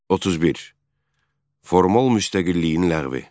31. Formal müstəqilliyin ləğvi.